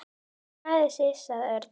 Klæða sig sagði Örn.